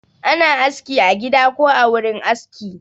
Ana aski a gida ko a wurin aski